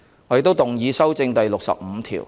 我亦動議修正第65條。